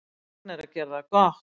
Ragna að gera það gott